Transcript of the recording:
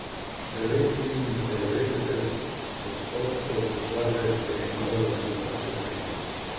Devetindevetdeset odstotkov države se je moralo drugače znajti.